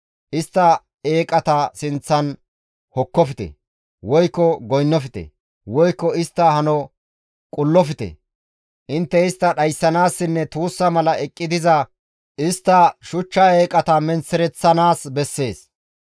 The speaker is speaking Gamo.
Istta eeqata sinththan hokkofte, woykko goynnofte, woykko istta hano qullofte. Intte istta dhayssanaassinne tuussa mala eqqi diza istta shuchcha eeqata menththereththanaas bessees.